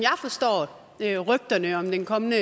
jeg forstår rygterne om den kommende